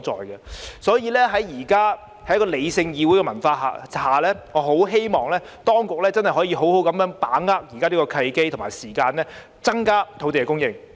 因此，在現時理性的議會文化下，我十分希望當局可以好好把握現在的契機和時間，增加土地供應。